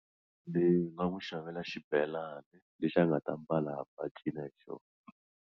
Ni nga n'wi xavela xibelani lexi a nga ta mbala hamba a cina hi xona.